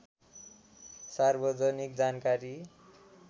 सार्वजनिक जानकारी